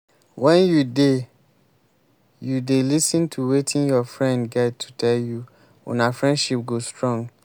wen you dey you dey lis ten to wetin your friend get to tell you una friendship go strong.